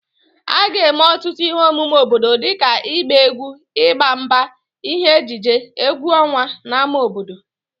A ga-eme ọtụtụ ihe omume obodo dịka ịgba egwu, ịgba mgba, ihe ejije, egwu ọnwa n'ámá obodo